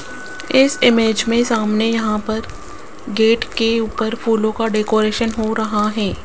इस इमेज में सामने यहां पर गेट के ऊपर फूलों का डेकोरेशन हो रहा है।